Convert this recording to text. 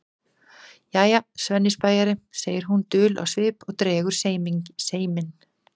Jæja, Svenni spæjari, segir hún dul á svip og dregur seiminn.